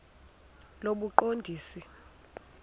lobuqondisi